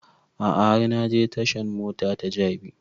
A'a har na je tashan mota ta jabi